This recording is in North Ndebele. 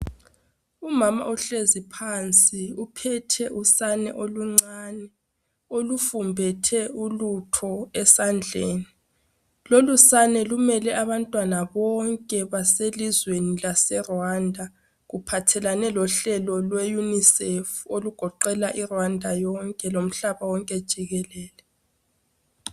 Umama uhlezi phansi uphethe usane oluncane olufumbethe ulutho esandleni. Lolu sane lumele abantwana bonke baselizweni laseRwanda kuphathelane lohlelo lwe Unicef olugoqela i Rwanda yonke lomhlaba wonke jikelele.